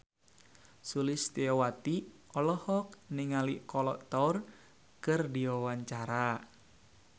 Sulistyowati olohok ningali Kolo Taure keur diwawancara